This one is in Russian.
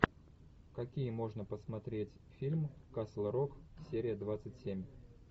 какие можно посмотреть фильм касл рок серия двадцать семь